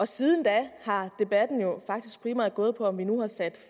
siden da har debatten jo faktisk primært gået på om vi nu har sat